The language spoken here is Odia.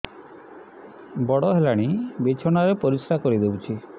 ବଡ଼ ହେଲାଣି ବିଛଣା ରେ ପରିସ୍ରା କରିଦେଉଛି